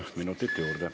Kolm minutit juurde.